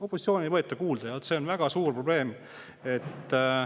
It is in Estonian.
Opositsiooni ei võeta kuulda ja see on väga suur probleem.